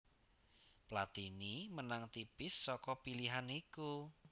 Platini menang tipis saka pilihan iku